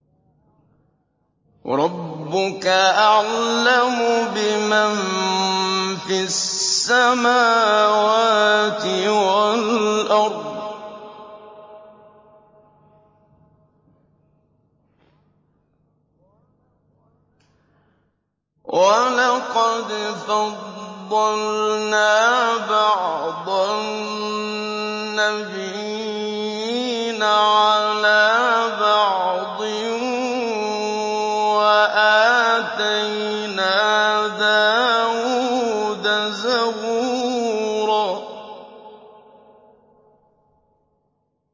وَرَبُّكَ أَعْلَمُ بِمَن فِي السَّمَاوَاتِ وَالْأَرْضِ ۗ وَلَقَدْ فَضَّلْنَا بَعْضَ النَّبِيِّينَ عَلَىٰ بَعْضٍ ۖ وَآتَيْنَا دَاوُودَ زَبُورًا